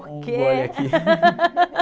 Por quê? .. Um gole aqui.risos)